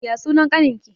Ya sunan ƙanin ki?